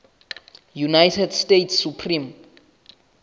united states supreme